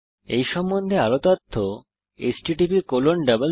এই সম্বন্ধে আরও তথ্য httpspoken tutorialorgnmeict ইন্ট্রো ওয়েবসাইটে উপলব্ধ